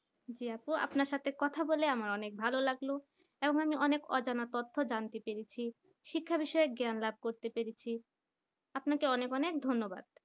জি আপু আপনার সাথে কথা বলে আমার অনেক ভালোলাগলো কারণ আমি অনেক অজানা তর্থ জানতে পেরেছি শিক্ষা বিষয়ক জ্ঞান লাভ করতে পেরেছি আপনাকে অনেক অনেক ধন্যবাদ